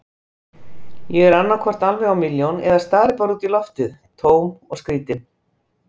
Ég er annaðhvort alveg á milljón eða stari bara út í loftið, tóm og skrýtin.